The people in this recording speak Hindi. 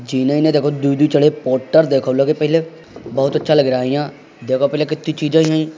पोट्टर लगे देखो पहले बहुत अच्छा लग रहा यहाँ देखो पहले कित्ती चीज़ें यहीं --